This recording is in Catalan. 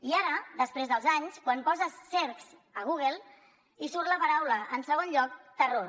i ara després dels anys quan poses cercs a google hi surt la paraula en segon lloc terror